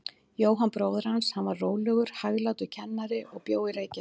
Jóhann bróðir hans, hann var rólegur, hæglátur kennari og bjó í Reykjavík.